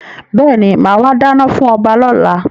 Bẹ́ẹ̀ni, máa wà dáná fún ọba lọ́la.